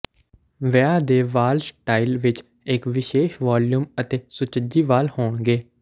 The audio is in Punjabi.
ਵਿਆਹ ਦੇ ਵਾਲ ਸਟਾਈਲ ਵਿਚ ਇਕ ਵਿਸ਼ੇਸ਼ ਵੌਲਯੂਮ ਅਤੇ ਸੁਚੱਜੀ ਵਾਲ ਹੋਣਗੇ